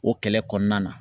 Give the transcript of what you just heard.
O kɛlɛ kɔnɔna na.